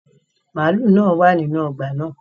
Màlúù náà wà nínú ọgbà náà